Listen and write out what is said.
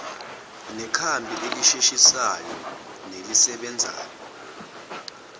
nekhambi elisheshisayo nelisebenzayo